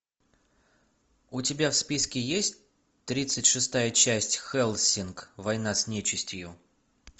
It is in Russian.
у тебя в списке есть тридцать шестая часть хеллсинг война с нечистью